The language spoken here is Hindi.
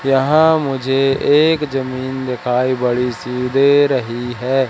यहां मुझे एक जमीन दिखाई बड़ी सी दे रही है।